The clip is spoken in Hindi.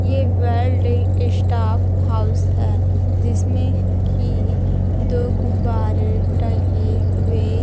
ये वर्ल्ड स्टाफ हाउस है जिसमें की दो गुब्बारे टंगे हुए--